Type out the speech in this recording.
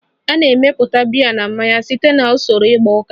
A na-emepụta biya na mmanya site na usoro igba uka